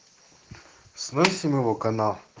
с мыслями вакано